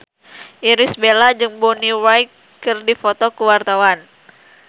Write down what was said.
Irish Bella jeung Bonnie Wright keur dipoto ku wartawan